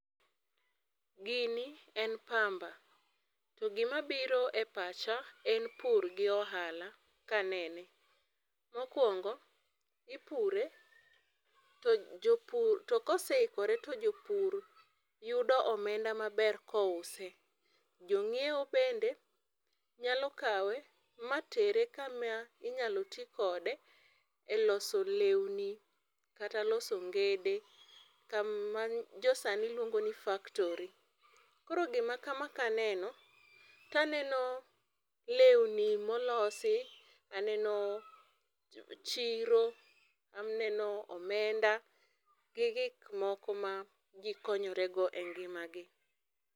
Gini en pamba to gima biro e pacha en pur gi ohala ka anene. Mokuongo ipure to jopur, to koseikore to jopur yudo omenda maber kouse, jonyiewo bende nyalo kawe matere kama inyalo tii kode e loso lewni kata loso ongede kama jo sani luongo ni factory. Koro gima kama ka anenen taneno lewni molosi, aneno chiro aneno omenda gi gik moko ma jii konyore go e ngimagi